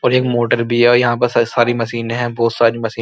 और एक मोटर भी है। यहाँ पे स सारी मशीनें है। बहोत सारी मशीनें --